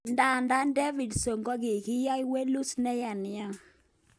Ndadan Davidson kokinya walut neya nia.